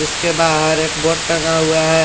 उसके बाहर एक बोर्ड टंगा हुआ है।